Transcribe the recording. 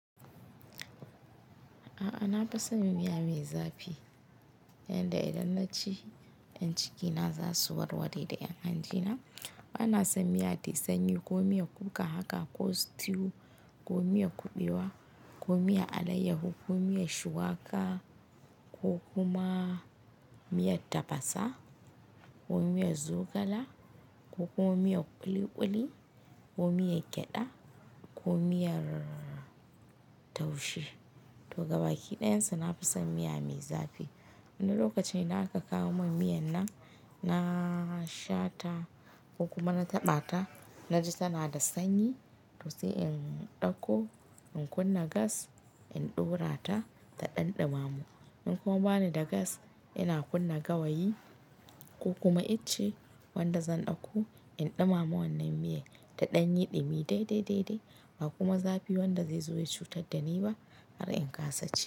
A'a na fi son miya mai zafi yanda idan na ci, y'an cikina zasu warware da y'an hanjina bana son miya tayi sanyi, ko miyan kuka haka ko stew, ko miyan kuɓewa, ko miyan alaiyahu, ko miyan shuwaka ko kuma miya tafasa, ko miyan zogala ko kuma miyan ƙuliƙuli, ko miyan gyada ko miyar taushe. To gaba ki ɗayansu na fi son miya mai zafi. Wank lokacin idan aka kawo min miyan nan, na sha ta ko kuma na taɓa ta na ji tana da sanyi to sai in ɗauko in kunna gas in ɗorata ta ɗan ɗumamu. In kuma bani da gas, ina kunna gawayi ko kuma ice wanda zan ɗauko in ɗumama wannan miyan ta ɗanyi ɗumi dai dai dai ba kuma zafi wanda zai zo ya cutar da ni ba har in kasa ci.